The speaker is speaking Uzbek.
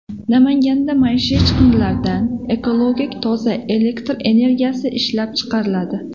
Namanganda maishiy chiqindilardan ekologik toza elektr energiyasi ishlab chiqariladi.